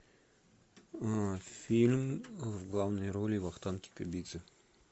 фильм в главной роли вахтанг кикабидзе